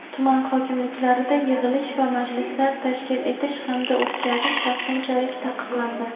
tuman hokimliklarida yig‘ilish va majlislar tashkil etish hamda o‘tkazish vaqtinchalik taqiqlandi.